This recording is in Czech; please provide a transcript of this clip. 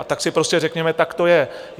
A tak si prostě řekněme, tak to je.